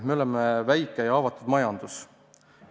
Me oleme väikese ja haavatava majandusega riik.